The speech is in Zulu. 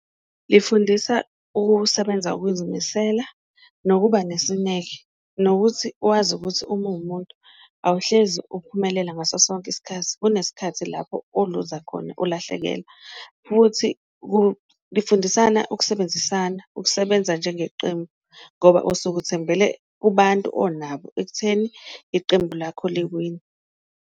Lifundisa ukusebenza ngokuzimisela nokuba nesineke, nokuthi wazi ukuthi uma uwumuntu awuhlezi ukuphumelela ngaso sonke isikhathi, kunesikhathi lapho oluza khona ulahlekelwa, futhi lifundisana ukusebenzisana ukusebenza njengeqembu, ngoba osuke uthembele kubantu onabo ekutheni iqembu lakho liwine.